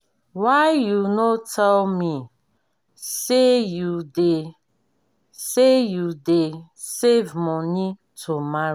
why you no tell me say you dey say you dey save money to marry.